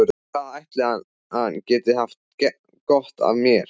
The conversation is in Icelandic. Hvað ætli hann geti haft gott af mér?